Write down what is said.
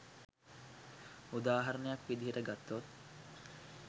උදාහරණයක් විදිහට ගත්තොත්